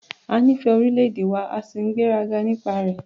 A nífẹ̀ẹ́ orílẹ̀-èdè wa a sì ní ìgbéraga nípa rẹ̀.